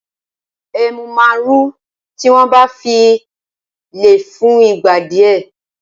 Ẹmú ma ru tí wọ́n bá fíì lẹ̀ fún ìgbà díẹ̀